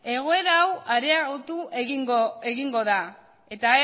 egoera hau areagotu egingo da eta